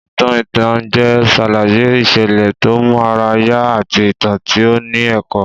Ìtàn ìtànjẹ ṣàlàyé ìṣẹ̀lẹ̀ tó mú ara yá àti ìtàn tí ó ní ẹ̀kọ́